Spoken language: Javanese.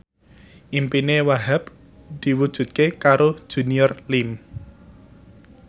impine Wahhab diwujudke karo Junior Liem